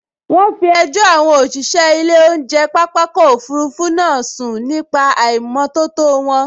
Wọ́n fi ẹjọ́ àwọn òṣìṣẹ́ ilé oúnjẹ pápákọ̀ òfurufú náà sun nípa àìnìmótótó wọn